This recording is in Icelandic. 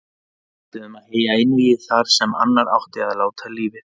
Við ætluðum að heyja einvígi þar sem annar átti að láta lífið.